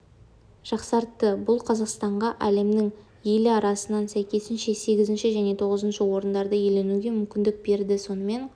жақсартты бұл қазақстанға әлемнің елі арасынан сәйкесінше сегізінші және тоғызыншы орындарды иеленуге мүмкіндік берді сонымен